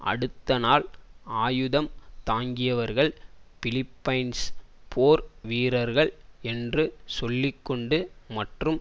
அடுத்த நாள் ஆயுதம் தாங்கியவர்கள் பிலிப்பைன்ஸ் போர் வீரர்கள் என்று சொல்லி கொண்டு மற்றும்